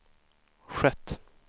skett